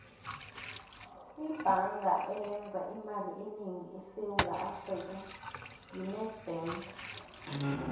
ibhanga eyenza imali enengi esewula afrika yi nedbank